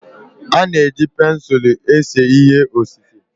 A na-eji pensụlu eme ihe osise.